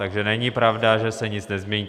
Takže není pravda, že se nic nezmění.